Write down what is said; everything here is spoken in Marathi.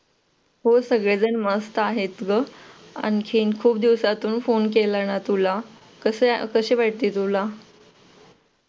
हो सगळेजण मस्त आहेत ग आणखीन खूप दिवसातून फोन केला ना तुला कसे आहे कसे वाटले तुला